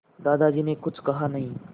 दादाजी ने कुछ कहा नहीं